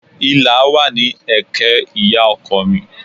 Ìlà wà ní ẹ̀kẹ́ ìyá ọkọ mi